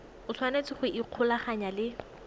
o tshwanetse go ikgolaganya le